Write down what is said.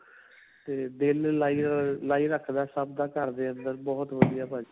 'ਤੇ ਦਿਲ ਲਾਈ ਅਅ, ਲਾਈ ਰਖਦਾ ਏ ਸਭ ਦਾ ਘਰ ਦੇ ਅੰਦਰ. ਬਹੁਤ ਵਧੀਆ ਭਾਜੀ.